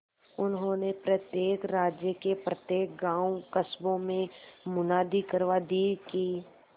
उन्होंने प्रत्येक राज्य के प्रत्येक गांवकस्बों में मुनादी करवा दी कि